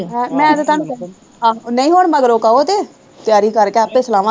ਹਾਂ ਮੈਂ ਤੇ ਤੁਹਾਨੂੰ ਆਹੋ ਨਹੀਂ ਹੁਣ ਮਗਰੋਂ ਕਹੋ ਤੇ ਤਿਆਰੀ ਕਰਕੇ ਆਪੇ ਸਲਾਵਾਂ